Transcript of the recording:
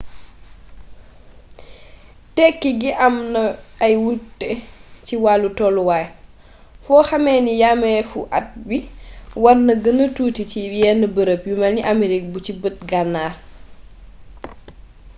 tekki gi am na ay wute ci wàllu tolluwaay foo xamee ne yameefu at bi war na gëna tuuti ci yenn bërëb yu melni amerig bu ci bët gannaar